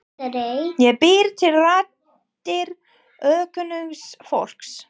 Ég bý til raddir ókunnugs fólks.